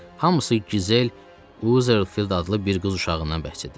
Hamısı Gizel Uzerfeld adlı bir qız uşağından bəhs edir.